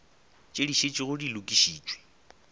tše di šetšego di lokišitšwe